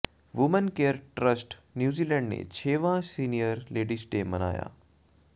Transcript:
women care trust New Zealand ਨੇ ਛੇਵਾਂ senior ladies day ਮਨਾਇਆ